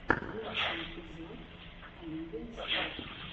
лучший эпизод оливия стар